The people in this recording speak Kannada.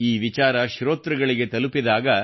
ಈ ವಿಚಾರ ಶ್ರೋತೃಗಳಿಗೆ ತಲುಪಿದಾಗ